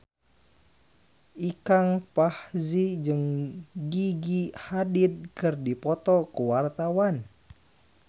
Ikang Fawzi jeung Gigi Hadid keur dipoto ku wartawan